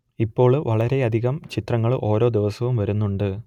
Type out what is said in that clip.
ഇപ്പോൾ വളരെയധികം ചിത്രങ്ങൾ ഓരോ ദിവസവും വരുന്നുണ്ട്